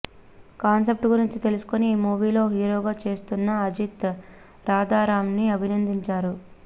concept గురించి తెలుసుకొని ఈ మూవీ లో హీరోగా చేస్తున్నఅజిత్ రాధారాం ని అభినందించారు